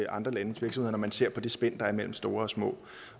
andre landes virksomheder når man ser på det spænd der er mellem store og små